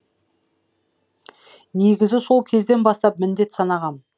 негізі сол кезден бастап міндет санағам